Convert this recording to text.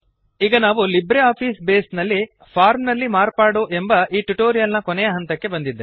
ಈಗ ನಾವು LibreOffice Base ನಲ್ಲಿ ಫಾರ್ಮ್ ನಲ್ಲಿ ಮಾರ್ಪಾಡು ಎಂಬ ಈ ಟ್ಯುಟೋರಿಯಲ್ ನ ಕೊನೆಯ ಹಂತಕ್ಕೆ ಬಂದಿದ್ದೇವೆ